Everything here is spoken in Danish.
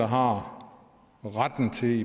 har retten til